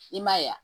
I m'a ye wa